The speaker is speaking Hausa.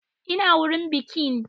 Ina wurin bikin?